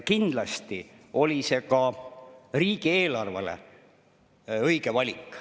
Kindlasti oli see ka riigieelarve õige valik.